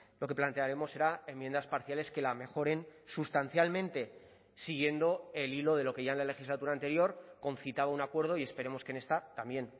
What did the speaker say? lo que plantearemos será enmiendas parciales que la mejoren sustancialmente siguiendo el hilo de lo que ya en la legislatura anterior concitaba un acuerdo y esperemos que en esta también